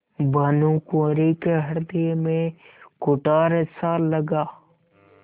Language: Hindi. भानुकुँवरि के हृदय में कुठारसा लगा